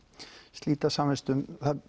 slíta samvistum það